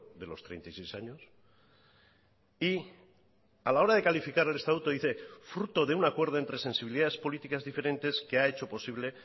de los treinta y seis años y a la hora de calificar el estatuto dice fruto de un acuerdo entre sensibilidades políticas diferentes que ha hecho posible